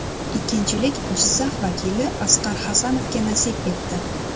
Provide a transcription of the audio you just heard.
Ikkinchilik Jizzax vakili Asqar Hasanovga nasib etdi.